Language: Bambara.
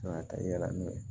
Kan ka taa yala n'o ye